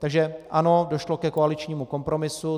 Takže ano, došlo ke koaličnímu kompromisu.